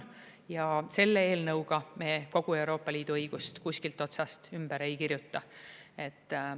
Ja selle eelnõuga me kogu Euroopa Liidu õigust kuskilt otsast ümber ei kirjuta.